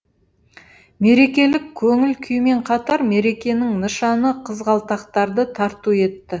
мерекелік көңіл күймен қатар мерекенің нышаны қызғалдақтарды тарту етті